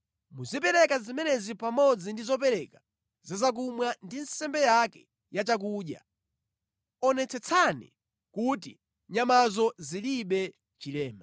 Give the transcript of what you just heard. Muzipereka zimenezi pamodzi ndi zopereka za zakumwa ndi nsembe yake ya chakudya. Onetsetsani kuti nyamazo zilibe chilema.